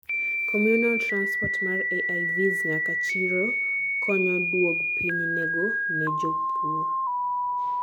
communal transport mar AIVs nyaka chiro konyo duog piny nengo ne jopur